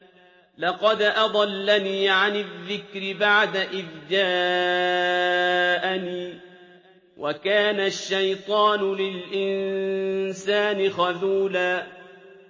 لَّقَدْ أَضَلَّنِي عَنِ الذِّكْرِ بَعْدَ إِذْ جَاءَنِي ۗ وَكَانَ الشَّيْطَانُ لِلْإِنسَانِ خَذُولًا